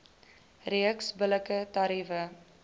reeks billike tariewe